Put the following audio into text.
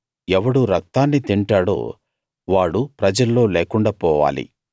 ఎవడు రక్తాన్ని తింటాడో వాడు ప్రజల్లో లేకుండా పోవాలి